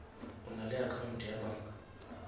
o nale account ya banka